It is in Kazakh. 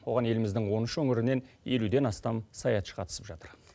оған еліміздің он үш өңірінен елуден астам саятшы қатысып жатыр